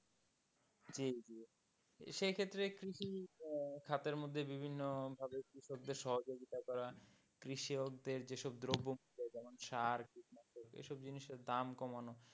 জি জি সেক্ষেত্রে কি খাদের মধ্যে বিভিন্ন কৃষক দের সহযোগিতা করা, কৃষক দের যেসব দ্রব্য যেমন সার, কীটনাশক, এইসব জিনিসের দাম কমানো,